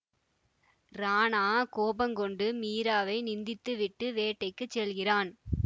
ராணா கோபங்கொண்டு மீராவை நிந்தித்து விட்டு வேட்டைக்குச் செல்கிறான்